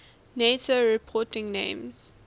nato reporting names